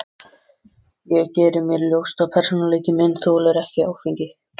Ég geri mér ljóst að persónuleiki minn þolir ekki áfengi.